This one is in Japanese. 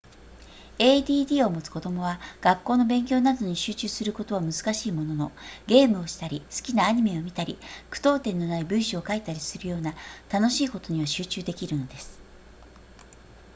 add を持つ子供は学校の勉強などに集中することは難しいもののゲームをしたり好きなアニメを見たり句読点のない文章を書いたりするような楽しいことには集中できるのです